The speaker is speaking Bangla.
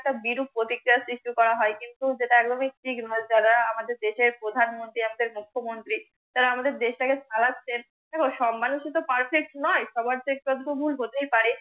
একটা বিরূপ প্রতিক্রিয়া সৃষ্টি করা হয় কিন্তু যেটা এমনি ঠিক নয় যারা আমাদের দেশের প্রধান মন্ত্রী আছে মুখ্য মন্ত্রী তারা আমাদের দেশ টাকে চালাচ্ছে দেখো সব মানুষই তো perfect নয় সবার তো একটু আধটু ভুল হতে পারে